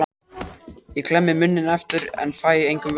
Ég klemmi munninn aftur en fæ engum vörnum við komið.